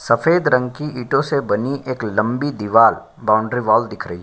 सफ़ेद रंग कि ईंटों से बनी एक लंबी दीवाल बाउंड्री वाल दिख रही --